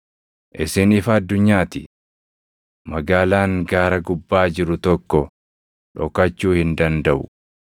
“Isin ifa addunyaa ti. Magaalaan gaara gubbaa jiru tokko dhokachuu hin dandaʼu.